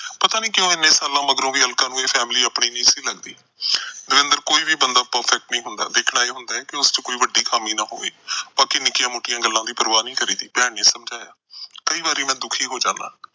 ਪਤਾ ਨੀ ਕਿਉਂ ਇੰਨੇ ਸਾਲਾਂ ਮਗਰੋਂ ਵੀ ਅਲਕਾ ਨੂੰ ਇਹ family ਆਪਣੀ ਨਹੀਂ ਸੀ ਲੱਗਦੀ। ਦਵਿੰਦਰ ਕੋਈ ਬੰਦਾ perfect ਨਹੀਂ ਹੁੰਦਾ। ਦੇਖਣਾ ਇਹ ਹੁੰਦਾ ਕਿ ਉਹਦੇ ਵਿੱਚ ਕੋਈ ਵੱਡੀ ਖਾਮੀ ਨਾ ਹੋਵੇ। ਬਾਕੀ ਨਿੱਕੀਆਂ-ਮੋਟੀਆਂ ਗੱਲਾਂ ਦੀ ਪਰਵਾਹ ਨਹੀਂ ਕਰੀਦੀ, ਭੈਣ ਨੇ ਸਮਝਾਇਆ। ਕਈ ਵਾਰੀ ਮੈਂ ਦੁਖੀ ਹੋ ਜਾਂਦਾ।